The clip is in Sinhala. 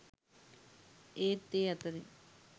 ඒත් ඒ අතරින්